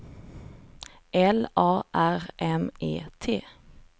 L A R M E T